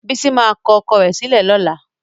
Bísí máa kọ ọkọ rẹ̀ sílẹ̀ lọ́la.